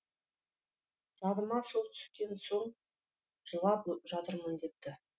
жадыма сол түскен соң жылап жатырмын депті